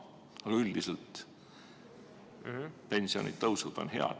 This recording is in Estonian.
Aga üldiselt pensionitõus on hea.